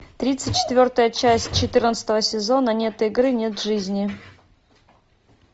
тридцать четвертая часть четырнадцатого сезона нет игры нет жизни